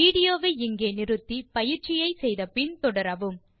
video வை நிறுத்தி பயிற்சியை முடித்த பின் தொடரவும்